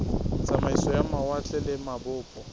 tsamaiso ya mawatle le mabopo